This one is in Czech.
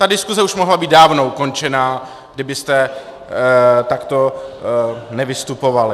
Ta diskuse už mohla být dávno ukončená, kdybyste takto nevystupovali.